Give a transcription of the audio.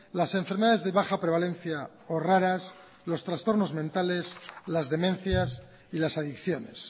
las enfermedades de baja prevalencia o raras los trastornos mentales las demencias y las adicciones